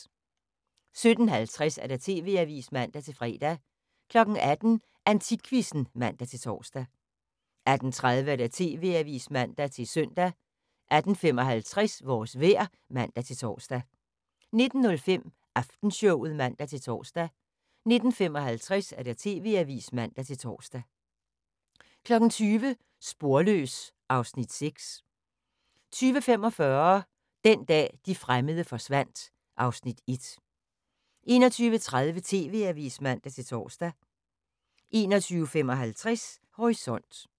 17:50: TV-avisen (man-fre) 18:00: AntikQuizzen (man-tor) 18:30: TV-avisen (man-søn) 18:55: Vores vejr (man-tor) 19:05: Aftenshowet (man-tor) 19:55: TV-avisen (man-tor) 20:00: Sporløs (Afs. 6) 20:45: Den dag, de fremmede forsvandt (Afs. 1) 21:30: TV-avisen (man-tor) 21:55: Horisont